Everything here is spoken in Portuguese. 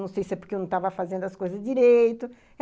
Não sei se é porque eu não estava fazendo as coisas direito.